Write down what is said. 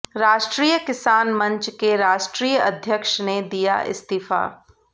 राष्ट्रीय किसान मंच के राष्ट्रीय अध्यक्ष ने दिया इस्तीफा